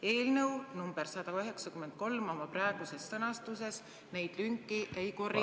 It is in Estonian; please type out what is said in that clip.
Eelnõu nr 193 oma praeguses sõnastuses neid lünki ei korrigeeri."